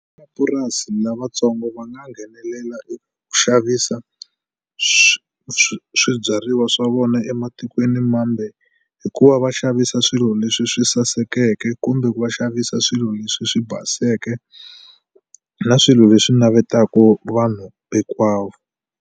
lavatsongo va nga nghenelela eku xavisa swibyariwa swa vona ematikweni mambe hi ku va va xavisa swilo leswi swi sasekeke kumbe ku va xavisa swilo leswi swi baseke na swilo leswi navetaku vanhu hinkwavo.